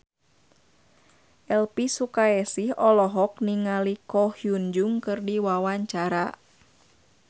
Elvy Sukaesih olohok ningali Ko Hyun Jung keur diwawancara